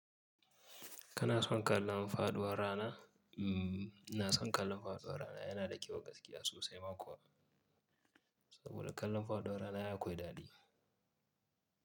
Kana son kallon faɗuwar rana? Mm, ina son kallon faɗuwar rana. Yana da kyau gaskiya sosai ma kuwa. Saboda kallon faɗuwar rana ai akwai daɗi.